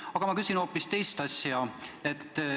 Aga ma küsin hoopis teist asja.